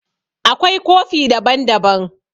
Akwai kofi daban-daban.